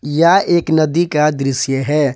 यह एक नदी का दृश्य है।